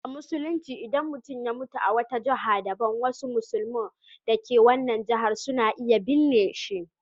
A Musulunci, idan mutum ya mutu a wata jiha daban, wasu musulmi da ke wannan jihar suna iya binne shi.